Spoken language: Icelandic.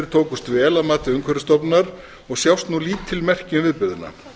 tókust vel að mati umhverfisstofnunar og sjást nú lítil merki um viðburðina